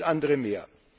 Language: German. Und vieles andere mehr.